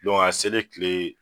a selen kile